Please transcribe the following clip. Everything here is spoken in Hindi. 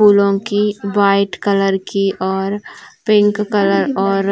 फूलों की वाइट कलर की और पिंक कलर और